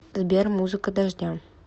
сбер музыка дождя